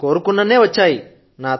నేను కోరుకున్నన్నే వచ్చాయి